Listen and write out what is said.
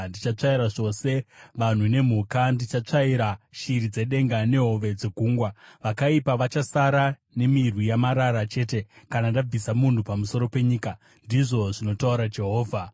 “Ndichatsvaira zvose vanhu nemhuka; ndichatsvaira shiri dzedenga nehove dzegungwa. Vakaipa vachasara nemirwi yamarara chete, kana ndabvisa munhu pamusoro penyika,” ndizvo zvinotaura Jehovha.